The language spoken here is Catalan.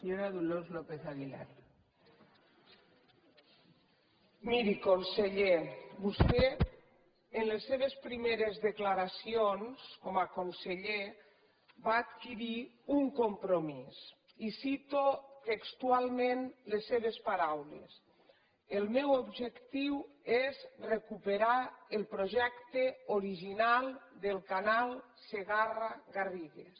miri conseller vostè en les seves primeres declaracions com a conseller va adquirir un compromís i cito textualment les seves paraules el meu objectiu és recuperar el projecte original del canal segarra garrigues